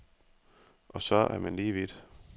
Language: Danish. Og så er man lige vidt.